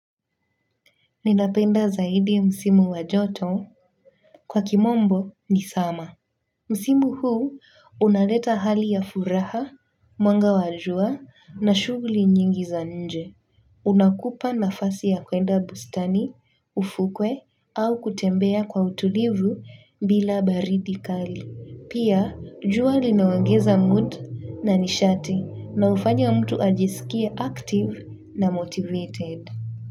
Ninapenda zaidi msimu wa joto kwa kimombo ni summer. Msimu huu unaleta hali ya furaha, mwanga wa jua na shughuli nyingi za nje. Unakupa nafasi ya kwenda bustani, ufukwe au kutembea kwa utulivu bila baridi kali. Pia, jua linaongeza mood na nishati na hufanya mtu ajisikie active na motivated.